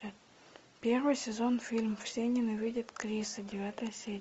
первый сезон фильм все ненавидят криса девятая серия